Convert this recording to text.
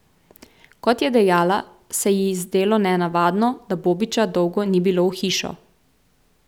Kot je dejala, se ji zdelo nenavadno, da Bobića dolgo ni bilo v hišo.